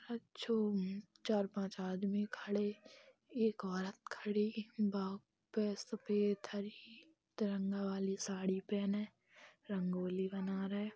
चार - पांच आदमी खड़े| एक औरत खड़ी| तिरंगा वाली साड़ी पहने रंगोली बना रए |